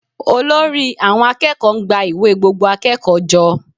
Olórí àwọn akẹ́kọ̀ọ́ ń gba ìwé gbogbo akẹ́kọ̀ọ́ jọ